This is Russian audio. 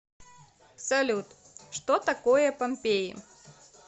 салют что такое помпеи